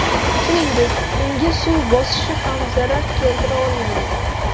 Shuningdek, unga suv bosishi ham zarar keltira olmagan.